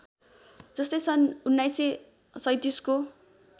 जस्तै सन् १९३७ को